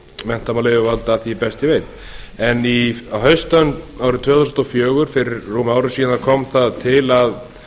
menntamálayfirvalda að því er ég best veit en á haustönn árið tvö þúsund og fjögur fyrir rúmu ári síðan kom það til að